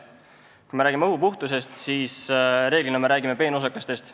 Kui me räägime õhu puhtusest, siis reeglina me räägime peenosakestest.